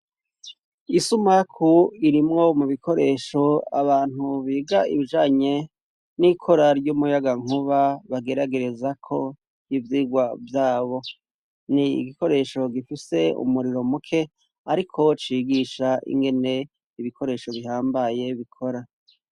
Isumaku irimwo mu bikoresho abantu biga ibijanye n'ikora ry'umuyagankuba bageragerezako ivyigwa vyabo. Ni igikoresho gifise umuriro muke, ariko cigisha ingene ibikoresho bihambaye bikora.